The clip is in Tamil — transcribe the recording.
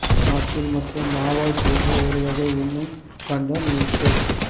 ஆப்பிள் மற்றும் மாவால் செய்த ஒரு வகை உண்ணும் பண்டம் மில்க்ஷேக்